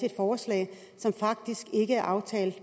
et forslag som faktisk ikke er aftalt